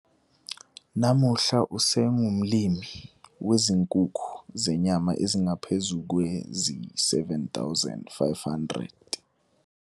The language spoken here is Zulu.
Namuhla, usengumlimi wezinkukhu zenyama ezingaphezu kwezi-7 500.